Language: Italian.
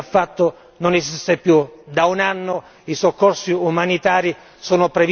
Sassoli, che peraltro non c'era, che il riferimento normativo che lui ha fatto non esiste più